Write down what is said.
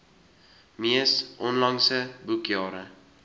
mees onlangse boekjare